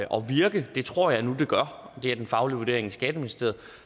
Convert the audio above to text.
virke det tror jeg nu det gør det er den faglige vurdering i skatteministeriet